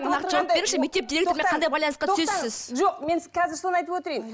нақты жауап беріңізші мектеп директорымен қандай байланысқа түсесіз сіз жоқ мен қазір соны айтып өтейін